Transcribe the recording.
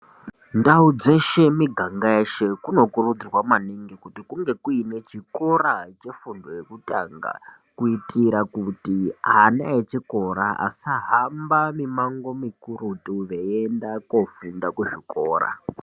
Ndau dzeshe miganga yeshe kunokurudzirwa maningi kuti kunge kuine chikora chefundo yekutangakuitira kuti ana echikora asajamba mimango mikurutu veienda koofunda kuzvikora.